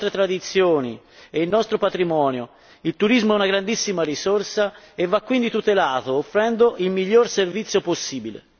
Non possiamo svendere le nostre tradizioni e il nostro patrimonio, il turismo è una grandissima risorsa e va quindi tutelato offrendo il miglior servizio possibile.